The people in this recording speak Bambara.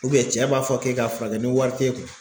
cɛ b'a fɔ k'e k'a furakɛ ni wari t'e kun